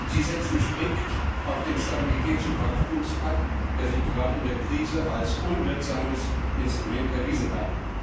Sie setzen strikt auf den Stabilitäts und Wachstumspakt, der sich gerade in der Krise als unwirksames Instrument erwiesen hat.